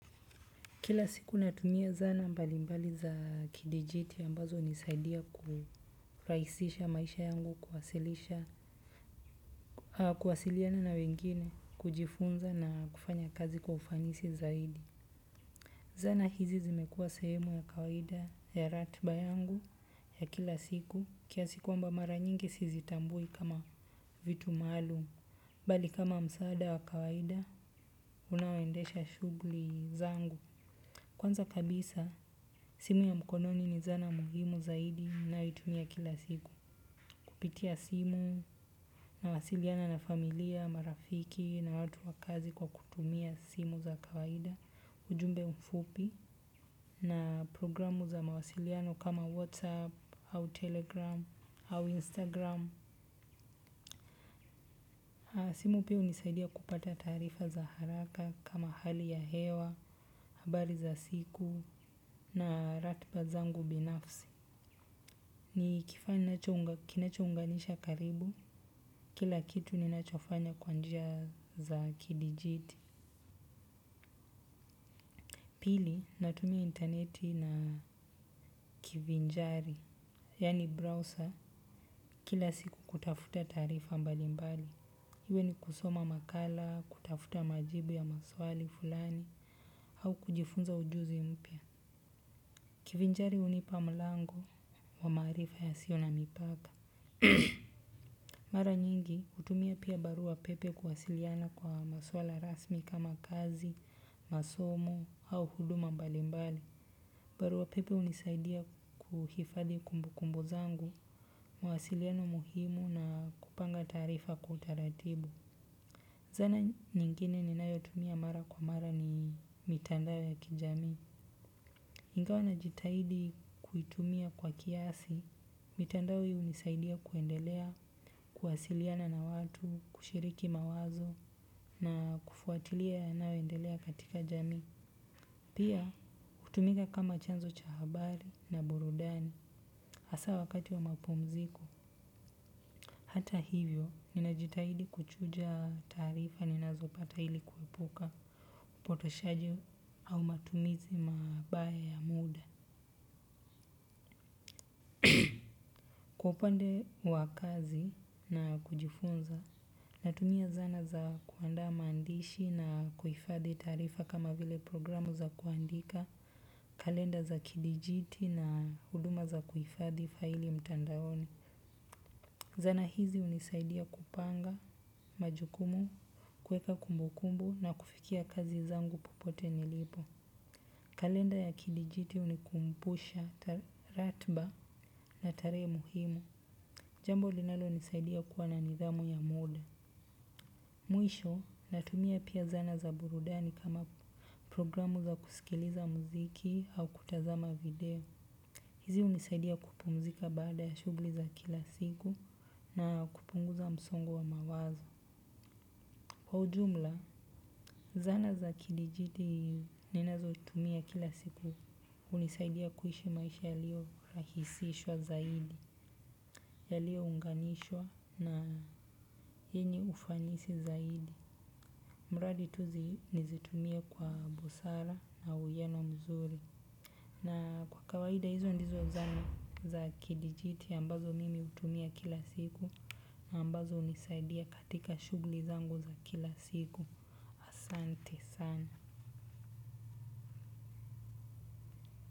Kila siku natumiya zana mbalimbali za kidijiti ambazo hunisaidia kurahisisha maisha yangu kuwasilisha kuwasiliana na wengine kujifunza na kufanya kazi kwa ufanisi zaidi. Zana hizi zimekua sehemu ya kawaida ya ratiba yangu ya kila siku. Kiasi kwamba mara nyingi sizitambui kama vitu maalum bali kama msaada wa kawaida unaoendesha shughuli zangu. Kwanza kabisa, simu ya mkononi ni zana muhimu zaidi ninayoitumia kila siku. Kupitia simu, nawasiliana na familia, marafiki na watu wa kazi kwa kutumia simu za kawaida, ujumbe mfupi na progiramu za mawasiliano kama WhatsApp, au Telegram, au Instagram. Simu pia hunisaidiya kupata taarifa za haraka kama hali ya hewa, habari za siku na ratiba zangu binafsi. Ni kifaa ninacho, kinacho unganisha karibu, kila kitu ninachofanya kwa njia za kidijiti pili, natumiya interneti na kivinjari yaani browser kila siku kutafuta taarifa mbalimbali. Iwe ni kusoma makala, kutafuta majibu ya maswali fulani, au kujifunza ujuzi mpya. Kivinjari hunipa mlango wa maarifa ya siyo na mipaka. Mara nyingi hutumia pia barua pepe kuwasiliana kwa maswala rasmi kama kazi, masomo au huduma mbalimbali. Barua pepe hunisaidiya kuhifadhi kumbu kumbu zangu, mawasiliano muhimu na kupanga taarifa kwa utaratibu. Zana nyingine ni nayotumia mara kwa mara ni mitandao ya kijamii ingawa na jitahidi kuitumiya kwa kiasi, mitandao hii hunisaidia kuendelea, kuwasiliana na watu, kushiriki mawazo na kufuatiliya yanayo endelea katika jamii. Pia, hutumika kama chanzo cha habari na burudani hasa wakati wa mapumziko. Hata hivyo, nina jitahidi kuchuja taarifa ni nazopata ili kuepuka, upotoshaji au matumizi mabaya ya muda. Kwa upande wa kazi na kujifunza. Natumiya zana za kuandaa maandishi na kuhifadhi taarifa kama vile progiramu za kuandika kalenda za kidijiti na huduma za kuhifadhi faili mtandaoni. Zana hizi hunisaidiya kupanga majukumu, kuweka kumbukumbu na kufikia kazi zangu popote nilipo. Kalenda ya kidijiti hunikumbusha ratiba na tarehe muhimu. Jambo linalo nisaidiya kuwa na nidhamu ya muda. Mwisho, natumia pia zana za burudani kama progiramu za kusikiliza muziki au kutazama video. Hizi hunisaidia kupumzika baada ya shughuli za kila siku na kupunguza msongo wa mawazo. Kwa ujumla, zana za kidijiti ninazo tumia kila siku hunisaidiya kuishi maisha yaliyo rahisishwa zaidi, yaliyo unganishwa na yenye ufanisi zaidi. Mradi tu zi, nizitumie kwa busara na uwiyano mzuri. Na kwa kawaida hizo ndizo zana za kidijiti ambazo mimi hutumia kila siku ambazo hunisaidiya katika shughuli zangu za kila siku. Asante sana.